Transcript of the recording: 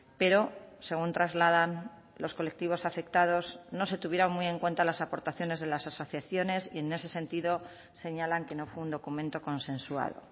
pero según trasladan los colectivos afectados no se tuvieron muy en cuenta las aportaciones de las asociaciones y en ese sentido señalan que no fue un documento consensuado